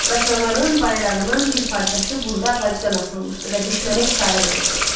Qaçağanın bayrağının bir parçası burada ağacdan asılmışdı və düşmənə işarə verirdi.